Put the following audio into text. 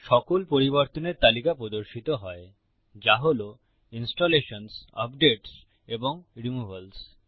সকল পরিবর্তনের তালিকা প্রদর্শিত হয় যা হল ইনস্টলেশনসহ আপডেটস এবং রিমুভালস